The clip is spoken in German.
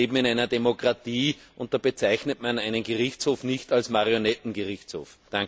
Wir leben in einer Demokratie, und da bezeichnet man einen Gerichtshof nicht als Marionettengerichtshof!